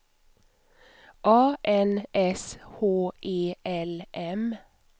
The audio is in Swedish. A N S H E L M